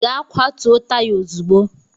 Gaa kwatuo taya ozugbo!